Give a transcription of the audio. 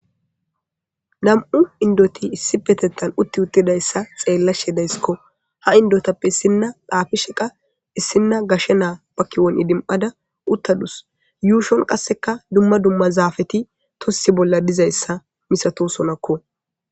Nam'u indoti issi petettan utti uttidayssa xeellashedayssikko ha indotappe issinna dhaafi sheqa issinna gashshe naa pakiwon idim'ada uttadus yuushon qasseka dumma dumma zaafeti tossi bolla dizayssa misato sonakko.